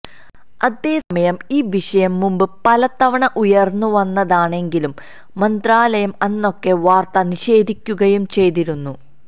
അതേസമയം ഈ വിഷയം മുമ്പ് പലതവണ ഉയര്ന്ന് വന്നതാണെങ്കിലും മന്ത്രാലയം അന്നൊക്കെ വാര്ത്ത നിഷേധിക്കുകയും ചെയ്തിരുന്നു